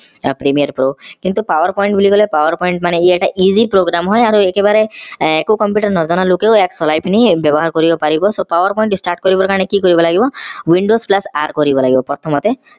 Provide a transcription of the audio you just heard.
premier pro কিন্তু power point বুলি কলে power point মানে ই এটা easy program হয় আৰু একেবাৰে একো computer নজনা লোকেও ইয়াক চলাই পিনি ব্যৱহাৰ কৰিব পাৰিব so power point start কৰিব কাৰণে কি কৰিব লাগিব windows plus r কৰিব লাগিব প্ৰথমতে